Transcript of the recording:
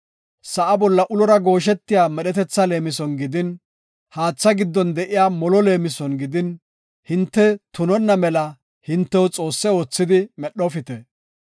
sa7a bolla ulora gooshetiya medhetetha leemison gidin, haatha giddon de7iya molo leemison gidin, hinte tunonna mela hintew xoosse oothidi medhofite.